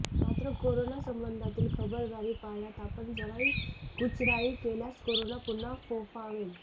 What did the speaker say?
मात्र कोरोना संबंधातील खबरदारी पाळण्यात आपण जराही कुचराई केल्यास कोरोना पुन्हा फोफावेल